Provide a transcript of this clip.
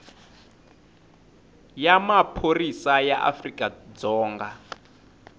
ya maphorisa ya afrika dzonga